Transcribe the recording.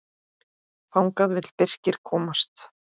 Þangað vill Birkir komast.